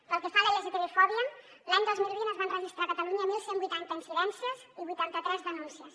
pel que fa a la lgtbifòbia l’any dos mil vint es van registrar a catalunya onze vuitanta incidències i vuitanta tres denúncies